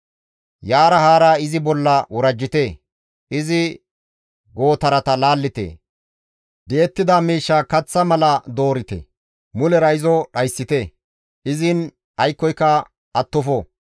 Yaara haara izi bolla worajjite; izi gootarata laallite; di7ettida miishsha kaththa mala doorite; mulera izo dhayssite; izin aykkoyka attofo.